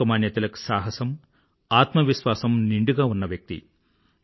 లోకమాన్య తిలక్ సాహసము ఆత్మవిశ్వాసము నిండుగా ఉన్న వ్యక్తి